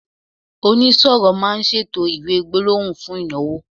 onisoro ma n ṣètò iwe gbólóhùn fún ìnáwó